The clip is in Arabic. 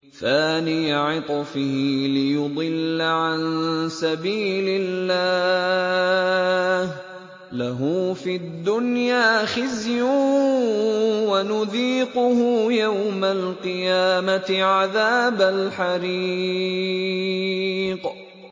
ثَانِيَ عِطْفِهِ لِيُضِلَّ عَن سَبِيلِ اللَّهِ ۖ لَهُ فِي الدُّنْيَا خِزْيٌ ۖ وَنُذِيقُهُ يَوْمَ الْقِيَامَةِ عَذَابَ الْحَرِيقِ